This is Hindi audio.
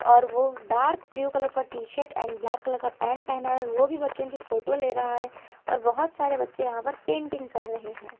और वो डार्क ब्लू कलर का T shirt and black colour का पैंट पहना है वो भी बच्चों की फोटो ले रहा है और बहुत सारे बच्चे यहां पर पेंटिंग कर रहे हैं।